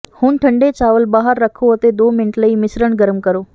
ਹੁਣ ਠੰਡੇ ਚਾਵਲ ਬਾਹਰ ਰੱਖੋ ਅਤੇ ਦੋ ਮਿੰਟਾਂ ਲਈ ਮਿਸ਼ਰਣ ਗਰਮ ਕਰੋ